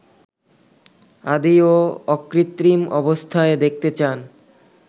আদি ও অকৃত্রিম অবস্থায় দেখতে চান